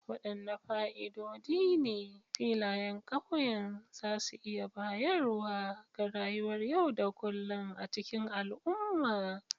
Wadanne fa'idodi ne filayen ƙauye za su iya bayarwa ga rayuwar yau da kullun a cikin al'umma?